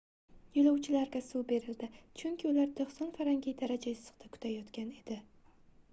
yo'lovchilarga suv berildi chunki ular 90 f daraja issiqda kutayotgan edi